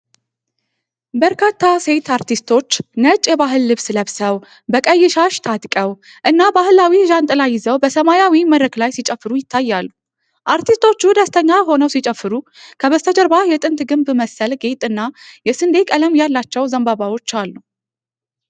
በርካታ ሴት አርቲስቶች ነጭ የባህል ልብስ ለብሰው፣ በቀይ ሻሽ ታጥቀው እና ባህላዊ ዣንጥላ ይዘው በሰማያዊ መድረክ ላይ ሲጨፍሩ ይታያሉ። አርቲስቶቹ ደስተኛ ሆነው ሲጨፍሩ ከበስተጀርባ የጥንት ግንብ መሰል ጌጥ እና የስንዴ ቀለም ያላቸው ዘንባባዎች አሉ።